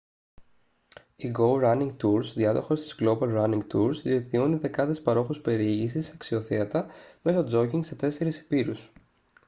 η γκόου ράνινγκ τουρς διάδοχος της γκλόμπαλ ράνινγκ τουρς δικτυώνει δεκάδες παρόχους περιήγησης σε αξιοθέατα μέσω τζόκινγκ σε τέσσερεις ηπείρους